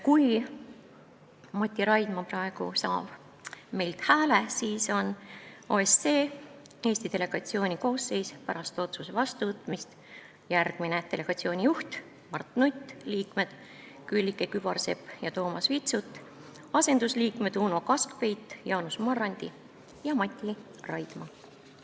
Kui Mati Raidma saab praegu meie hääled, siis on OSCE Eesti delegatsiooni koosseis pärast otsuse vastuvõtmist järgmine: delegatsiooni juht Mart Nutt, liikmed Külliki Kübarsepp ja Toomas Vitsut, asendusliikmed Uno Kaskpeit, Jaanus Marrandi ja Mati Raidma.